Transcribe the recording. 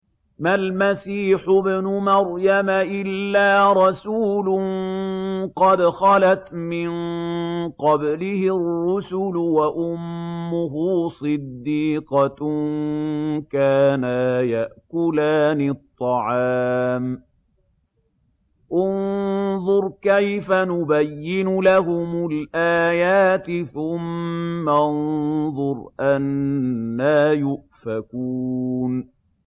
مَّا الْمَسِيحُ ابْنُ مَرْيَمَ إِلَّا رَسُولٌ قَدْ خَلَتْ مِن قَبْلِهِ الرُّسُلُ وَأُمُّهُ صِدِّيقَةٌ ۖ كَانَا يَأْكُلَانِ الطَّعَامَ ۗ انظُرْ كَيْفَ نُبَيِّنُ لَهُمُ الْآيَاتِ ثُمَّ انظُرْ أَنَّىٰ يُؤْفَكُونَ